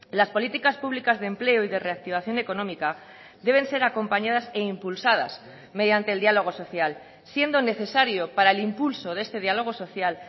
las políticas públicas de empleo y de reactivación económica deben ser acompañadas e impulsadas mediante el diálogo social siendo necesario para el impulso de este diálogo social